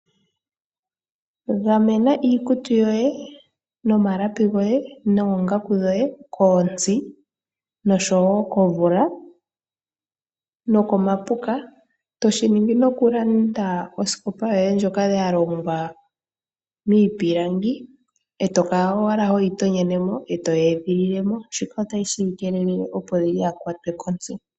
Gamena iikutu yoye ,noongaku dhoye ,nomalapi goye kontsi oshowo komvula nokomapuka toshiningi noku landa osikopa yoye ndjoka ya longwa miipilangi etokala owala hoyi tonyenemo ngoye toyi edhililemo shika otashi yi keelele opo kayi kwatwe kontsi.